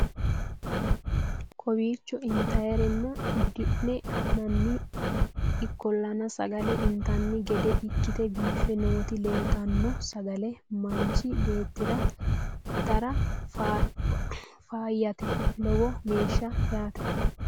kowiicho intannire duunne hee'noonni ikkollana sagale intanni gede ikkite biife noti leeltanno sagale manchi beetira itate faayyate lowo geeshsha yaate